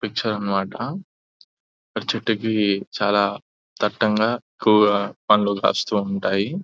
picture అన్నమాట చెట్టుకి చాలా దట్టంగా ఎక్కువగా పండ్లు కాస్తూ ఉంటాయి --